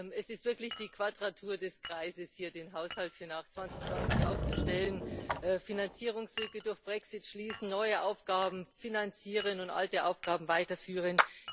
Es ist wirklich die Quadratur des Kreises, hier den Haushalt für nach 2020 aufzustellen Finanzierungslücke durch Brexit schließen, neue Aufgaben finanzieren und alte Aufgaben weiterführen.